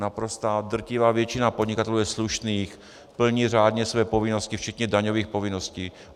Naprostá drtivá většina podnikatelů je slušných, plní řádně své povinnosti, včetně daňových povinností.